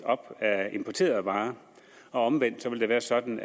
af importerede varer omvendt vil det være sådan